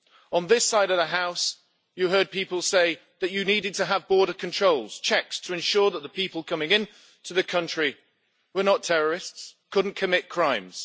On this side of the house, you heard people say that you needed to have border controls checks to ensure that the people coming into the country, were not terrorists, could not commit crimes.